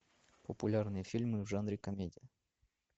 популярные фильмы в жанре комедия